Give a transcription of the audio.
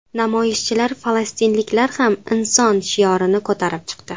Namoyishchilar ‘Falastinliklar ham inson’ shiorini ko‘tarib chiqdi.